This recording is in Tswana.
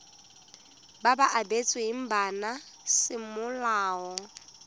ba ba abetsweng bana semolao